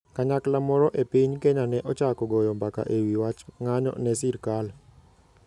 Kanyakla moro e piny Kenya ne ochako goyo mbaka e wi wach ng'anyo ne sirkal.